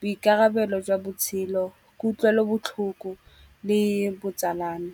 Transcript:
boikarabelo jwa botshelo, kutlwelobotlhoko le botsalano.